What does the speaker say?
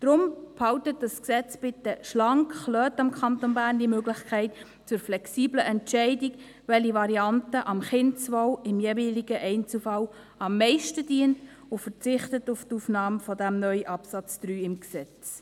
Darum: Halten Sie dieses Gesetz bitte schlank, lassen Sie dem Kanton Bern die Möglichkeit zur flexiblen Entscheidung, welche Variante dem Kindeswohl im jeweiligen Einzelfall am meisten dient, und verzichten Sie auf die Aufnahme dieses neuen Absatzes 3 im Gesetz.